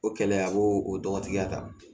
O kɛlɛ a b'o o dɔgɔtigɛ ta